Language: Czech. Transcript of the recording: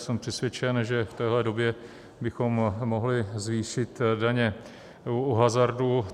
Jsem přesvědčen, že v téhle době bychom mohli zvýšit daně u hazardu.